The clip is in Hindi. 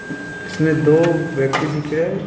इसमें दो व्यक्ति दिख रहे हैं।